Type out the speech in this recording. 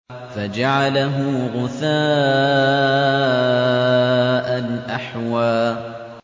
فَجَعَلَهُ غُثَاءً أَحْوَىٰ